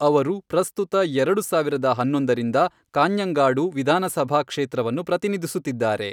ಅವರು ಪ್ರಸ್ತುತ ಎರಡು ಸಾವಿರದ ಹನ್ನೊಂದರಿಂದ ಕಾಞ್ಞಂಗಾಡು ವಿಧಾನಸಭಾ ಕ್ಷೇತ್ರವನ್ನು ಪ್ರತಿನಿಧಿಸುತ್ತಿದ್ದಾರೆ.